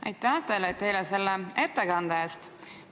Aitäh teile selle ettekande eest!